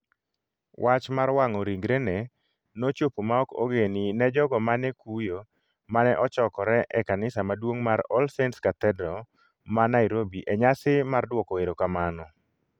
Wach mar wang'o ringrene nochopo ma ok ogeni ne jogo mane kuyo mane ochokore e Kanisa Maduong' mar All Saints Cathedral ma Nairobi e nyasi mar duoko erokamano.